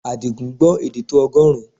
Àdìgún gbọ́ èdè tó ọgọ́rùn-ún